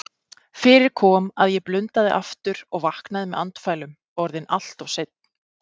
Fyrir kom að ég blundaði aftur og vaknaði með andfælum, orðinn alltof seinn.